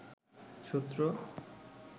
সূত্র